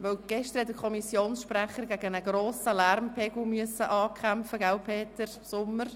– Gestern musste der Kommissionssprecher gegen einen hohen Lärmpegel ankämpfen, nicht wahr, Grossrat Peter Sommer?